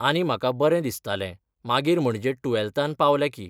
आनी म्हाका बरें दिसतालें मागीर म्हणजे टुवॅल्तान पावलें की.